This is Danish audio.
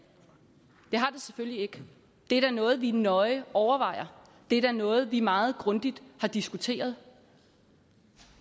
selvfølgelig ikke det er da noget vi nøje overvejer det er da noget vi meget grundigt har diskuteret